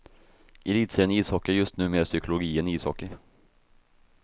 Elitserien i ishockey är just nu mer psykologi än ishockey.